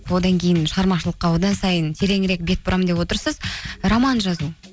одан кейін шығармашылықа одан сайын тереңірек бет бұрамын деп отырсыз роман жазу